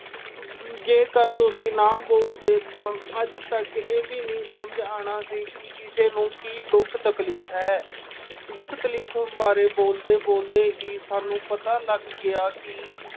ਜੇਕਰ ਤੁਸੀਂ ਨਾ ਬੋਲਦੇ ਤਾਂ ਅੱਜ ਤੱਕ ਇਹ ਵੀ ਨਹੀਂ ਸਮਝ ਆਣਾ ਸੀ ਕਿ ਕਿਸੇ ਨੂੰ ਕੀ ਦੁੱਖ ਤਕਲੀਫ਼ ਹੈ। ਦੁੱਖ-ਤਕਲੀਫ਼ ਬਾਰੇ ਬੋਲਦੇ-ਬੋਲਦੇ ਹੀ ਸਾਨੂੰ ਪਤਾ ਲੱਗ ਗਿਆ ਕਿ